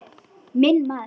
Minn maður.